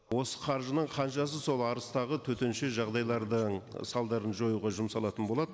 осы қаржының қаншасы сол арыстағы төтенше жағдайлардың салдарын жоюға жұмсалатын болады